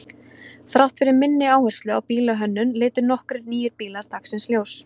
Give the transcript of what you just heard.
Þrátt fyrir minni áherslu á bílahönnun litu nokkrir nýir bílar dagsins ljós.